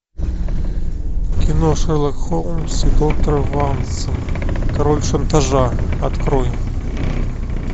кино шерлок холмс и доктор ватсон король шантажа открой